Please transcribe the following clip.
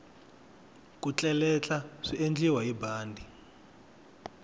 ku tleletla swiendliwa hi bandi